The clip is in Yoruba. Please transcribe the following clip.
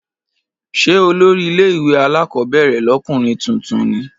Ṣé olórí ilé ìwé alákọ̀ọ́bẹ̀rẹ̀ lọ́kùnrin tuntun ní?